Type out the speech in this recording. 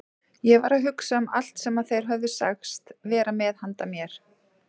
Ég var að hugsa um allt sem þeir höfðu sagst vera með handa mér.